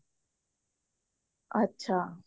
ਅੱਛਾ